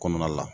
Kɔnɔna la